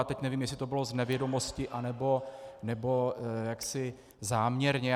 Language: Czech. A teď nevím, jestli to bylo z nevědomosti, nebo jaksi záměrně.